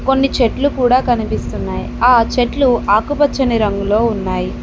కొన్ని చెట్లు కూడా కనిపిస్తున్నాయ్ ఆ చెట్లు ఆకుపచ్చని రంగులో ఉన్నాయి.